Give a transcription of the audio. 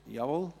– Jawohl.